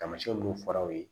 Taamasiyɛn minnu fɔra aw ye